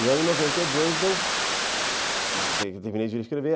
E aí em noventa e dois eu terminei de vir escrever.